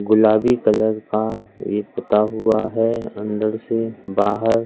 गुलाबी कलर का ये पुता हुआ है अंदर से बाहर।